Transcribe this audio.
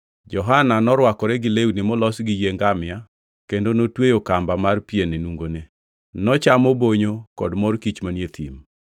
Johana norwakore gi lewni molos gi yie ngamia kendo notweyo kamba mar pien e nungone. Nochamo bonyo kod mor kich manie thim.